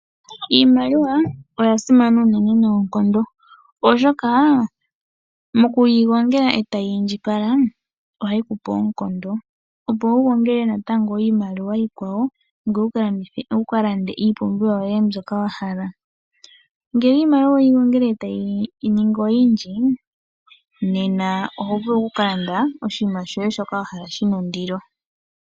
Iimaliwa oyasimana unene noonkondo, oshoka mokuyi gongela etayi indjipala ohayi kupe oonkondo opo wugongele natango iimaliwa iikwawo ngoye wu ka lande iipumbiwa yoye mbyoka wahala. Ngele iimaliwa oweyi gongele etayi ningi oyindji nena oho vulu okukalanda oshinima shoye shoka wahala shina ondilo.